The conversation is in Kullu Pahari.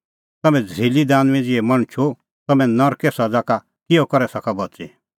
तम्हैं झ़रीली दानुईं ज़िहै मणछो तम्हैं नरके सज़ा का किहअ करै सका बच़ी